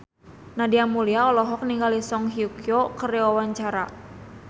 Nadia Mulya olohok ningali Song Hye Kyo keur diwawancara